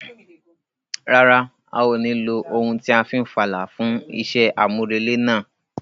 Rárá, a ò ní lo ohun tí a fi n fàlà fún iṣẹ́ àmúrelé náà.